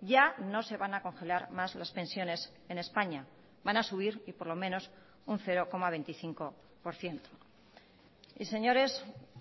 ya no se van a congelar más las pensiones en españa van a subir y por lo menos un cero coma veinticinco por ciento y señores